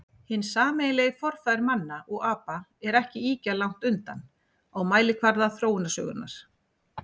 Hinn sameiginlegi forfaðir manna og apa er ekki ýkja langt undan á mælikvarða þróunarsögunnar.